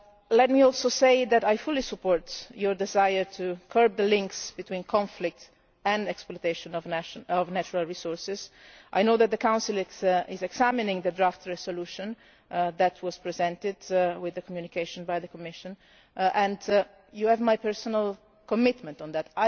it. Let me also say that I fully support the desire to curb the links between conflict and exploitation of natural resources. I know that the Council is examining the draft resolution that was presented with the communication by the Commission, and you have my personal commitment